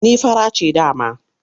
Ni fara ce dama.